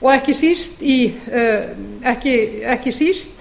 og ekki síst